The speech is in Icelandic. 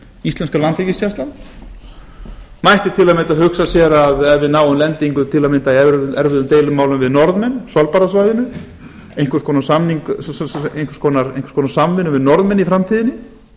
íslenska landhelgisgæslan mætti á m hugsa sér ef við náum lendingu í erfiðum deilumálum við norðmenn á svalbarðasvæðinu einhvers konar samvinnu við norðmenn í framtíðinni